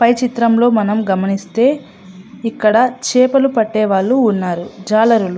పై చిత్రంలో మనం గమనిస్తే ఇక్కడ చేపలు పట్టే వాళ్ళు ఉన్నారు. చాలా --